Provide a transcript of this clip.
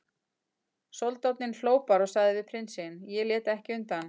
Soldáninn hló bara og sagði við prinsinn: Ég lét ekki undan.